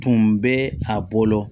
Tun bɛ a bolo